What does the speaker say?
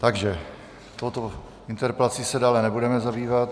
Takže touto interpelací se dále nebudeme zabývat.